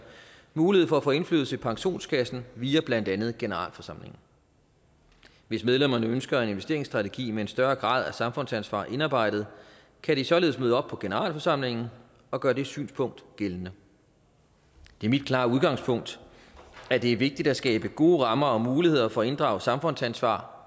mulighed for at få indflydelse i pensionskassen via blandt andet generalforsamlinger hvis medlemmerne ønsker en investeringsstrategi med en større grad af samfundsansvar indarbejdet kan de således møde op på generalforsamlingen og gøre det synspunkt gældende det er mit klare udgangspunkt at det er vigtigt at skabe gode rammer og muligheder for at inddrage samfundsansvar